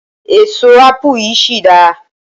èso apu yìí sì da